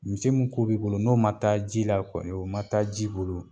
Misi min ku b'i bolo n'o ma taa ji la kɔni, o ma taa ji bolo